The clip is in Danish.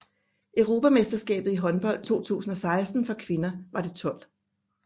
Europamesterskabet i håndbold 2016 for kvinder var det 12